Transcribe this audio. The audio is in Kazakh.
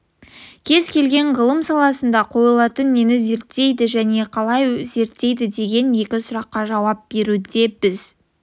кез келген ғылым саласына қойылатын нені зерттейді және қалай зерттейді деген екі сұраққа жауап беруде біз